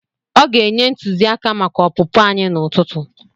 Ọ ga-enye ntụziaka maka opụpụ anyị n'ụtụtụ.